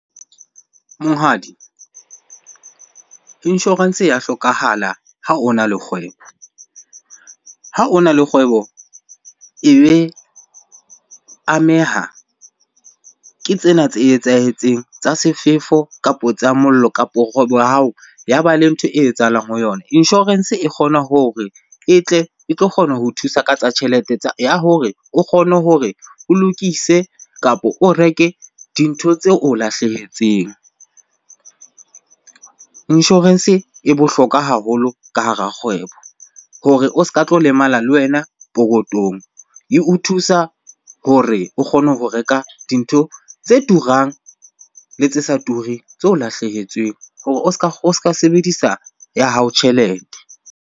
Monghadi, insurance ya hlokahala ha ona le kgwebo. Ha ona le kgwebo, e be ameha, ke tsena tse etsahetseng tsa sefefo, kapo tsa mollo, kapo kgwebo ya hao ya ba le ntho e etsahalang ho yona. Insurance e kgona hore e tle e tlo kgona ho thusa ka tsa tjhelete tsa, ya hore o kgone hore o lokise kapa o reke dintho tse o lahlehetseng. Insurance e bohlokwa haholo ka hara kgwebo hore o ska tlo lemala le wena pokotong. Eo thusa hore o kgone ho reka dintho tse turang le tse sa tureng tse o lahlehetsweng hore o ska sebedisa ya hao tjhelete.